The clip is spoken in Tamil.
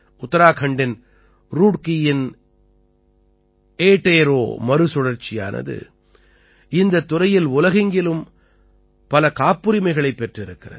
உத்தராகண்டின் ருட்கீயின் ஏடேரோ மறுசுழற்சியானது இந்தத் துறையில் உலகெங்கிலும் பல காப்புரிமைகளைப் பெற்றிருக்கிறது